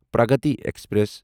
Pragati express